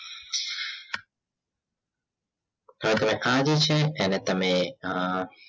હવે તમે આ રીત છે એને તમે